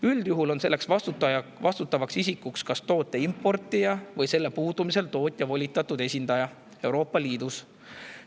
Üldjuhul on see vastutav isik toote importija või selle puudumise korral tootja volitatud esindaja Euroopa Liidus.